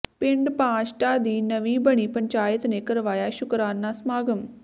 ਪਿੰਡ ਪਾਂਸ਼ਟਾ ਦੀ ਨਵੀਂ ਬਣੀ ਪੰਚਾਇਤ ਨੇ ਕਰਵਾਇਆ ਸ਼ੁਕਰਾਨਾ ਸਮਾਗਮ